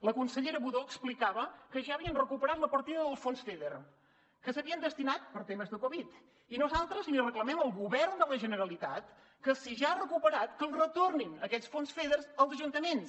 la consellera budó explicava que ja havien recuperat la partida del fons feder que s’havien destinat per a temes de covid i nosaltres li reclamem al govern de la generalitat que si ja els ha recuperat que els retornin aquests fons feder als ajuntaments